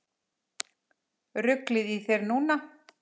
Ruglið í þér núna!